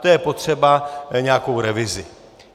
To je potřeba nějakou revizi.